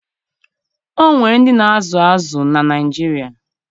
O nwere ndị na-azụ azụ na Naịjirịa